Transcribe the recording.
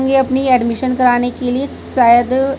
ए अपनी एडमिशन कराने के लिए शायद--